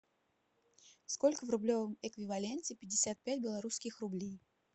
сколько в рублевом эквиваленте пятьдесят пять белорусских рублей